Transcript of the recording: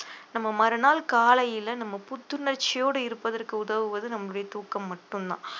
நம்ம மறுநாள் காலையில நம்ம புத்துணர்ச்சியோட இருப்பதற்கு உதவுவது நம்முடைய தூக்கம் மட்டும்தான்